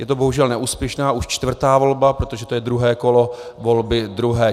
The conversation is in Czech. Je to bohužel neúspěšná, už čtvrtá volba, protože to je druhé kolo volby druhé.